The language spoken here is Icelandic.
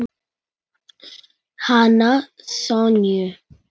Hana Sonju?